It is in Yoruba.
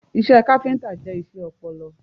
Iṣẹ́ káfíntà jẹ́ iṣẹ́ ọpọlọ.